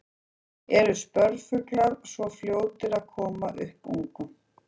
Eru spörfuglar svona fljótir að koma upp ungum?